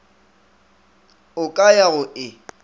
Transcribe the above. o ka ya go e